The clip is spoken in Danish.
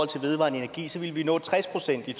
til vedvarende energi så ville vi nå tres procent i